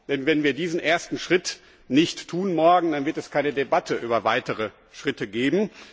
Denn wenn wir diesen ersten Schritt morgen nicht tun, dann wird es keine Debatte über weitere Schritte geben.